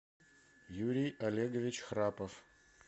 юрий олегович храпов